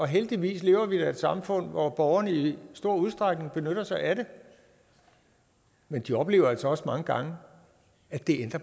heldigvis lever vi da i et samfund hvor borgerne i stor udstrækning benytter sig af det men de oplever altså også mange gange at det